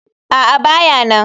A'a, ba ya nan.